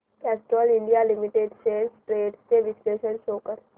Castrol India limited shares trends चे विश्लेषण show कर